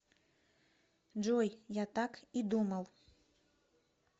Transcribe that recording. джой я так и думал